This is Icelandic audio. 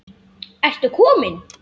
Ertu kominn!